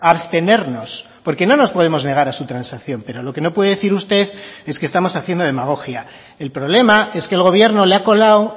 abstenernos porque no nos podemos negar a su transacción pero lo que no puede decir usted es que estamos haciendo demagogia el problema es que el gobierno le ha colado